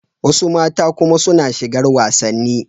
Wasu mata kuma suna shigar wasanni.